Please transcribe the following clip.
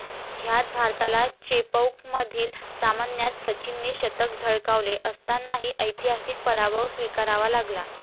ह्यात भारताला चेपौकमधील सामन्यात सचिनने शतक झळकावले असतानाही ऐतिहासिक पराभव स्वीकारावा लागला.